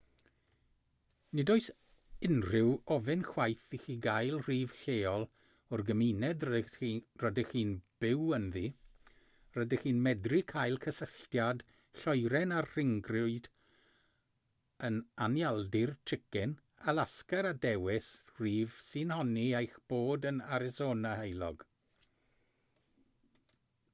nid oes unrhyw ofyn chwaith i chi gael rhif lleol o'r gymuned rydych chi'n byw ynddi rydych chi'n medru cael cysylltiad lloeren â'r rhyngrwyd yn anialdir chicken alasga a dewis rhif sy'n honni eich bod yn arisona heulog